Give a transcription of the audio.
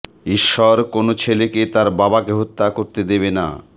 ঈশ্বর কোন ছেলেকে তার বাবাকে হত্যা করতে দেবেন না